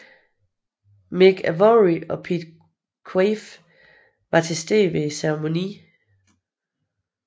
Mick Avory og Pete Quaife var til stede ved ceremonien